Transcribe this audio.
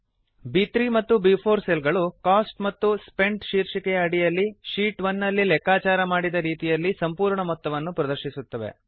ಬ್3 ಮತ್ತು ಬ್4 ಸೆಲ್ ಗಳು ಕೋಸ್ಟ್ ಮತ್ತು ಸ್ಪೆಂಟ್ ಶೀರ್ಷಿಕೆಯ ಅಡಿಯಲ್ಲಿ ಶೀಟ್ 1 ನಲ್ಲಿ ಲೆಕ್ಕಾಚಾರ ಮಾಡಿದ ರೀತಿಯಲ್ಲಿ ಸಂಪೂರ್ಣ ಮೊತ್ತವನ್ನು ಪ್ರದರ್ಶಿಸುತ್ತವೆ